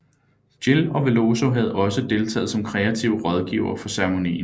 Gil og Veloso havde også deltaget som kreative rådgivere for ceremonien